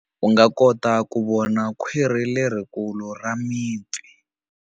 U nga kota ku vona khwiri lerikulu ra mipfi.